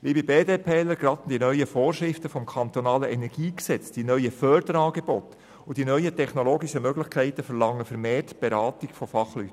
Liebe BDP-ler, gerade die neuen Vorschriften des KEnG, die neuen Förderangebote und die neuen technologischen Möglichkeiten, verlangen vermehrt die Beratung durch Fachleute.